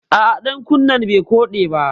A'a ɗankunnen bai koɗe ba